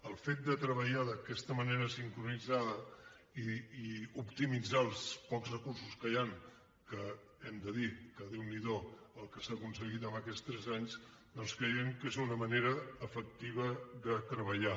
el fet de treballar d’aquesta manera sincronitzada i optimitzar els pocs recursos que hi han que hem de dir que déu n’hi do el que s’ha aconseguit en aquests tres anys doncs creiem que és una manera efectiva de treballar